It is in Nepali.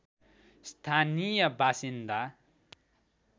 स्थानीय बासिन्दा